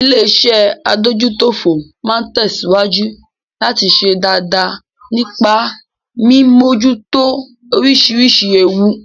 Illéeṣẹ́ adójútófò máa tẹ̀síwájú láti ṣe dáadáa nípa mí mímójútó oríṣiríṣi ewu.